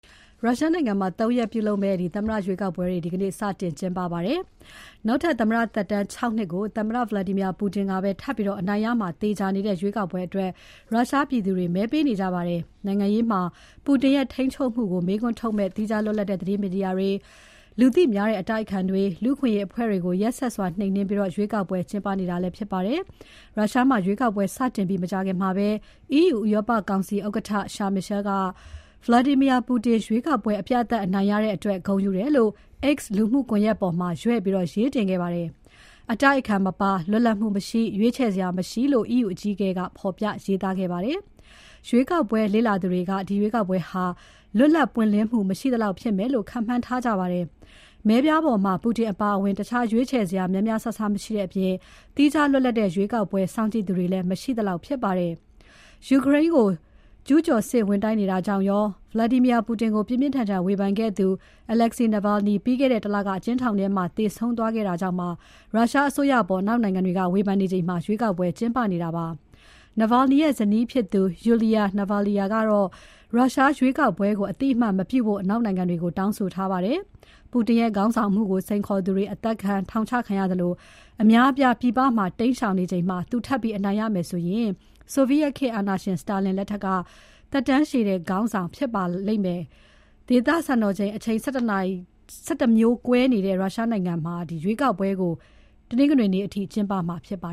ရုရှားနိုင်ငံမှာ ၃ ရက်ကျင်းပမယ့် သမ္မတရွေးကောက်ပွဲတွေ ဒီနေ့ စတင်ပါတယ်။ နောက်ထပ်သမ္မတသက်တမ်း ၆ နှစ်ကို သမ္မတ Vladimir Putin ပဲထပ်ပြီး အနိုင်ရမှာ သေချာနေတဲ့ရွေးကောက်ပွဲအတွက် ရုရှားပြည်သူတွေ မဲပေးနေကြပါတယ်။ နိုင်ငံရေးမှာ Putin ရဲ့ ထိန်းချုပ်မှုကို မေးခွန်းထုတ်မယ့် သီးခြားလွတ်လပ်တဲ့ သတင်းမီဒီယာတွေ၊ လူသိများတဲ့ အတိုက်အခံတွေ၊ လူ့အခွင့်အရေးအဖွဲ့တွေကို ရက်စက်စွာ နှိမ်နှင်းပြီးရွေးကောက်ပွဲ ကျင်းပနေတာဖြစ်ပါတယ်။ ရုရှားမှာ ရွေးကောက်ပွဲစတင်ပြီး မကြာခင်မှာပဲ EU ဥရောပကောင်စီဥက္ကဋ္ဌ Charles Michel က Vladimir Putin ရွေးကောက်ပွဲ အပြတ်အသတ်အနိုင်ရတဲ့အတွက် ဂုဏ်ယူတယ်လို့ X လူမှုကွန်ရက်ပေါ်မှာ ရွဲ့ပြီး ရေးတင်ခဲ့ပါတယ်။ အတိုက်အခံ မပါ၊ လွတ်လပ်မှု မရှိ၊ ရွေးချယ်စရာ မရှိလို့ EU အကြီးအကဲက ဖော်ပြရေးသားခဲ့ပါတယ်။ ရွေးကောက်ပွဲလေ့လာသူတွေက ဒီရွေးကောက်ပွဲဟာ လွတ်လပ် ပွင့်လင်းမှု မရှိသလောက်ဖြစ်မယ်လို့ ခန့်မှန်းထားကြပါတယ်။ မဲပြားပေါ်မှာ Putin အပါအဝင် တခြားရွေးချယ်စရာ များများစားစားမရှိတဲ့အပြင် သီးခြားလွတ်လပ်တဲ့ ရွေးကောက်ပွဲ စောင့်ကြည့်သူတွေလည်း မရှိသလောက်ဖြစ်ပါတယ်။ ယူကရိန်းကို ကျူးကျော်စစ်ဝင်တိုက်နေတာကြောင့်ရော၊ သမ္မတ Putin ကို ပြင်းပြင်းထန်ထန် ဝေဖန်ခဲ့သူ Alexei Navalny လွန်ခဲ့တဲ့ ၁ လက အကျဉ်းထောင်ထဲမှာ သေဆုံးသွားခဲ့တာကြောင့်ပါ ရုရှားအစိုးရအပေါ် အနောက်နိုင်ငံတွေက ဝေဖန်နေချိန် ရွေးကောက်ပွဲ ကျင်းပနေတာပါ။ Navalny ရဲ့ဇနီးဖြစ်သူ Yulia Navalnaya က ရုရှားရွေးကောက်ပွဲကို အသိအမှတ် မပြုဖို့ အနောက်နိုင်ငံတွေကို တောင်းဆိုထားပါတယ်။ Putin ရဲ့ခေါင်းဆောင်မှုကို စိန်ခေါ်သူတွေ အသတ်ခံ၊ ထောင်ချခံရသလို အများအပြားပြည်ပမှာ တိမ်းရှောင်နေချိန်မှာ သူထပ်ပြီး အနိုင်ရမယ်ဆိုရင် ဆိုဗိယက်ခေတ်အာဏာရှင် Stalin ထက်သက်တမ်းရှည်တဲ့ ရုရှားခေါင်းဆောင်ဖြစ်လာပါလိမ့်မယ်။ ဒေသစံတော်ချိန် အချိန် ၁၁ မျိုးကွဲနေတဲ့ ရုရှားနိုင်ငံမှာ ရွေးကောက်ပွဲကို တနင်္ဂနွေနေ့အထိ ကျင်းပမှာဖြစ်ပါ